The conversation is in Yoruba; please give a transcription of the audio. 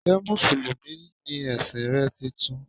Njẹ́ musulumi ni ẹ̀sìn rẹ titun?